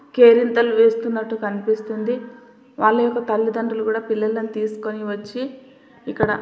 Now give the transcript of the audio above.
కేరింతలు చేస్తున్నట్టు కనిపిస్తుంది. వారి యొక్క తల్లి దండ్రులు కూడా పిల్లలని తీసుకుని వచ్చి ఇక్కడ--